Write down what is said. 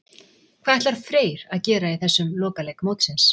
Hvað ætlar Freyr að gera í þessum lokaleik mótsins?